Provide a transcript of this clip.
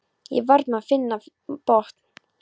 Ég varð að finna minn botn.